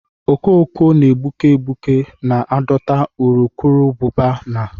Okoko na egbuke egbuke na adọta urukurubụba na